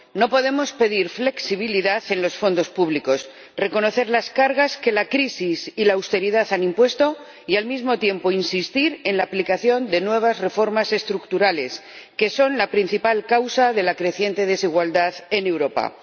No podemos pedir flexibilidad en los fondos públicos, reconocer las cargas que la crisis y la austeridad han impuesto y, al mismo tiempo, insistir en la aplicación de nuevas reformas estructurales, que son la principal causa de la creciente desigualdad en Europa.